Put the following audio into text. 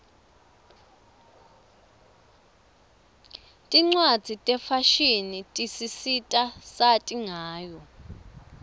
tincwadzi tefashini tisisita sati ngayo